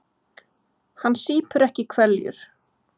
Hann sýpur ekki hveljur.